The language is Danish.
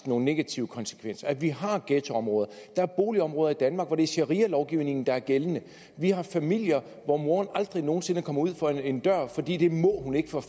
nogle negative konsekvenser at vi har ghettoområder der er boligområder i danmark hvor det er sharialovgivningen der er gældende vi har familier hvor moderen aldrig nogen sinde kommer uden for en dør fordi det må hun ikke for